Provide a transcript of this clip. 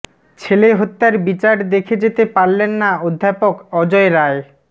ছেলে হত্যার বিচার দেখে যেতে পারলেন না অধ্যাপক অজয় রায়